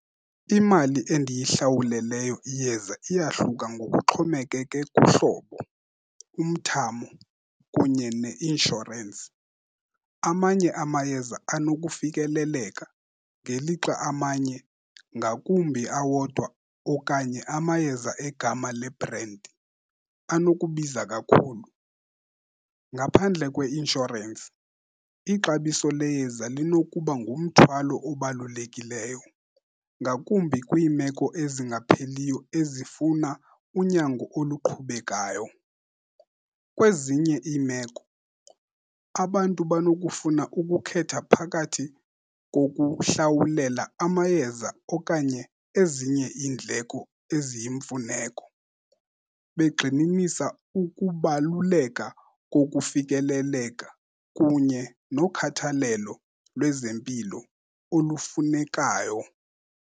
Iimali endiyihlawuleleyo iyeza iyahluka ngokuxhomekeke kuhlobo, umthamo kunye neinshorensi. Amanye amayeza anokufikeleleka, ngelixa amanye, ngakumbi awodwa okanye amayeza egama lebhrendi, anokubiza kakhulu. Ngaphandle kweinshorensi ixabiso leyeza linokuba ngumthwalo obalulekileyo, ngakumbi kwiimeko ezingapheliyo, ezifuna unyango oluqhubekayo. Kwezinye iimeko, abantu banokufuna ukukhetha phakathi kokuhlawulela amayeza okanye ezinye iindleko eziyimfuneko, begxininisa ukubaluleka kokufikeleleka kunye nokhathalelo lwezempilo olufunekayo.